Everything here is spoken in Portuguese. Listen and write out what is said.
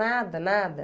Nada, nada.